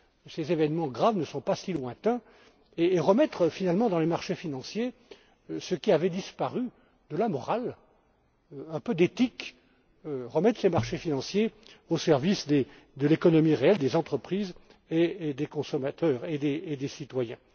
Ces événements graves ne sont pas si lointains et il importe de remettre, finalement, dans les marchés financiers ce qui avait disparu de la morale, un peu d'éthique. De remettre ces marchés financiers au service de l'économie réelle, des entreprises, des consommateurs et des citoyens.